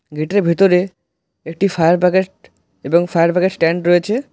গেটের ভেতরে একটি ফায়ার বাকেট এবং ফায়ার বাকেট স্ট্যান্ড রয়েছে।